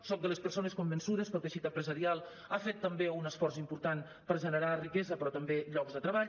soc de les persones convençudes que el teixit empresarial ha fet també un esforç important per generar riquesa però també llocs de treball